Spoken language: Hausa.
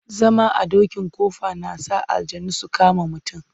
Zama a dokin ƙofa na sa aljannu su kama mutum.